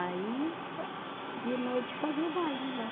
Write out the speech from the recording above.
Aí âh, de noite fazia o baile lá.